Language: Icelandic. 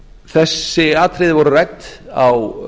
þessi atriði voru rædd á